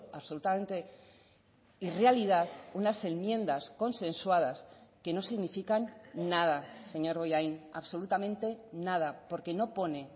absolutamente irrealidad unas enmiendas consensuadas que no significan nada señor bollain absolutamente nada porque no pone